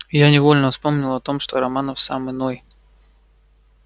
я невольно вспомнил о том что романов сам иной